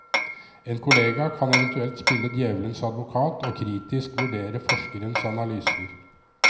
En kollega kan eventuelt spille djevelens advokat og kritisk vurdere forskerens analyser.